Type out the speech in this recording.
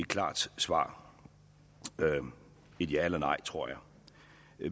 klart svar et ja eller nej tror jeg